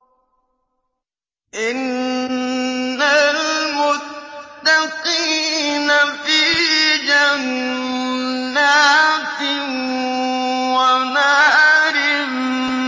إِنَّ الْمُتَّقِينَ فِي جَنَّاتٍ وَنَهَرٍ